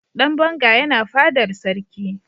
dan banga yana fadar sarki